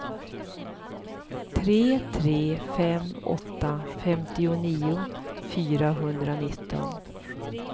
tre tre fem åtta femtionio fyrahundranitton